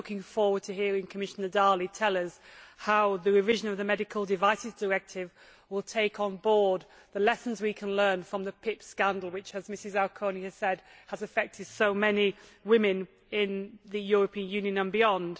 I am looking forward to hearing Commissioner Dalli tell us how the revision of the Medical Devices Directive will take on board the lessons we can learn from the PIP scandal which, as Ms Auconie has said, has affected so many women in the European Union and beyond.